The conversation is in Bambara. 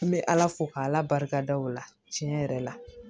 N bɛ ala fo k'ala barika da o la tiɲɛ yɛrɛ la